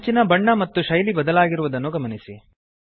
ಅಂಚಿನ ಬಣ್ಣ ಮತ್ತು ಶೈಲಿ ಬದಲಾಗಿರುವುದನ್ನು ಗಮನಿಸಿ